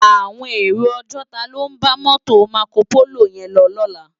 Áwòn éró ògòtá ló n bá mòtó Mákópóló yèn lò lòlá